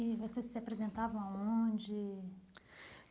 E vocês se apresentavam aonde?